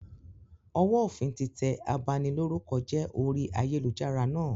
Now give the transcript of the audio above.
Ọwọ òfin tí tẹ abanilórúkọjẹ́ orí ayélujára náà